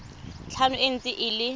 tlhano e ntse e le